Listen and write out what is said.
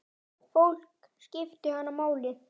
Fólk skipti hana máli.